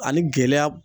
Ani gɛlɛya